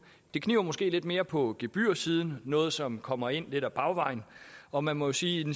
det kniber måske lidt mere på gebyrsiden det noget som kommer ind lidt ad bagvejen og man må sige